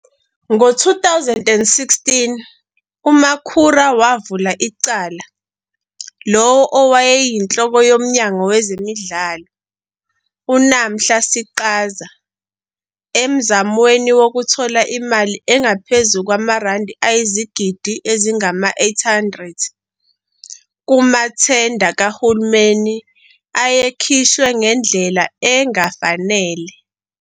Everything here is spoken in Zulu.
Ngo-2016 uMakhura wavula icala lowo owayeyinhloko yoMnyango Wezemidlalo, uNamhla Siqaza, emzamweni wokuthola imali engaphezu kwamarandi ayizigidi ezingama-R800 kumathenda kahulumeni ayekhishwe ngendlela engafanele.